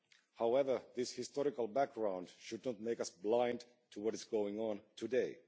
However, this historical background should not make us blind to what is going on today.